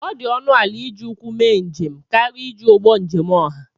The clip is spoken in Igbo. ọ dị ọnụ ala iji ụkwụ mee njem karịa iji ụgbọ njem ọha